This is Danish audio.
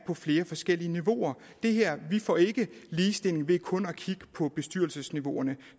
på flere forskellige niveauer vi får ikke ligestilling ved kun at kigge på bestyrelsesniveauerne